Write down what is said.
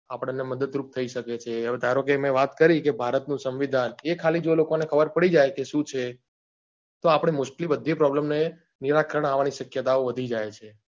આપડો ને મદદરૂપ થઇ સકે છે હવે ધારોકે મેં વાત કરી કે ભારત નું સંમીધાન એ ખાલી જો લોકો ને ખબર પડી જાય કે શું છે તો આપડે mostly બધી problem નિરાકરણ આવવા ની શક્યતાઓ વધી જાય છે